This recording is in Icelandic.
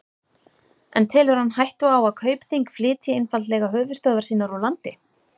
En telur hann hættu á að Kaupþing flytji einfaldlega höfuðstöðvar sínar úr landi?